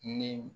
Ni